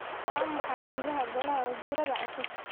Waa maxay jihada Golaha Wasiirada cusub?